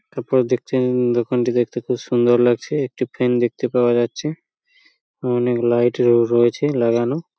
তারপর দেখছেন দোকানটি দেখতে খুব সুন্দর লাগছে। একটি ফ্যান দেখতে পাওয়া যাচ্ছে অনেক লাইট ও রয়েছে লাগানো।